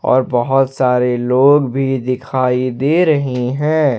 और बहोत सारे लोग भी दिखाई दे रहे हैं।